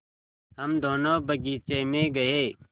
हम दोनो बगीचे मे गये